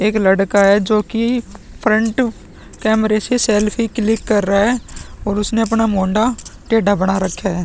एक लड़का है जो की फ्रंट कैमरे से सेल्फी क्लिक कर रहा है और उसने अपना मुंडा टेढ़ा बना रखा है।